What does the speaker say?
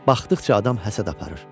Baxdıqca adam həsəd aparır.